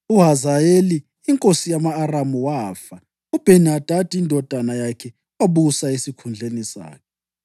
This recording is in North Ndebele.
UHazayeli inkosi yama-Aramu wafa, uBheni-Hadadi indodana yakhe wabusa esikhundleni sakhe.